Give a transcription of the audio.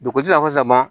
Dugu ti na fɔ sama